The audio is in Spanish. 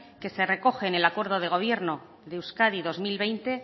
que se recoge en el acuerdo de gobierno de euskadi dos mil veinte